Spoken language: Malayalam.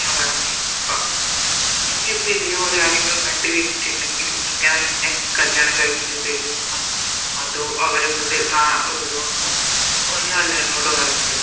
പറഞ്ഞെ ഇപ്പൊ നീയിപ്പോ ഇതേപോലെ ആരെങ്കിലും കണ്ട് വെച്ചിറ്റിണ്ടെങ്കില് ഇങ്ങനെ നിന്നെ കല്യാണം കഴിപ്പിച്ച് തരുവെന്നോ അതോ അവര കൂടെ ത വീടുവെന്നോ ഒന്നുവല്ല എന്നോട് പറഞ്ഞത്